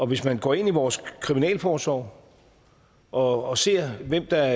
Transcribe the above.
hvis man går ind i vores kriminalforsorg og og ser hvem der